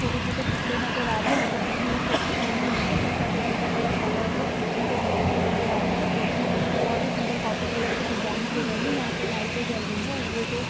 छोटे छोटे पुतले नजर आ रहे हैं सभी ने टोपी पहनी हुई है सबका टोपी का कलर अलग हैपीछे दो मछलियां नजर आ रही हैं जो कि बहोत ही सुन्दर कॉफ़ी कलर से डिजाईन किये गये हैं यहाँ पे लाईट जल रही हैं और ये जो --